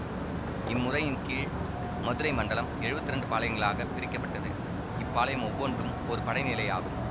இம்முறையின் கீழ் மதுரை மண்டலம் எழுவத்தி இரண்டு பாளையங்களாகப் பிரிக்கப்பட்டது இப்பாளையம் ஒவ்வொன்றும் ஒரு படைநிலை ஆகும்